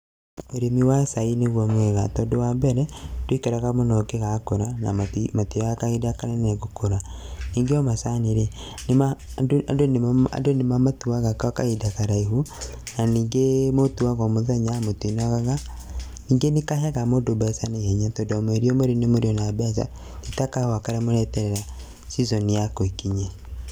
Ũrĩmi wa cai niguo mwega tondũ wa mbere ndũikaraga mũno ũngĩgakũra na matioyaga kahinda kanene gũkũra, ningĩ o macani rĩ andũ nĩmamatuaga gwa kahinda karaihu na ningĩ mũtuaga o mũthenya mũtinogaga, ningĩ nĩkaheaga mũndũ mbeca na ihenya tondũ o mweri mweri nĩmũrĩona mbeca ti ta kahũa karĩa mũreterera season yako ĩkinye.